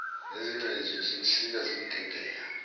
nezingcezu zimsika zimqedela